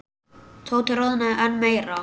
Tóti roðnaði enn meira.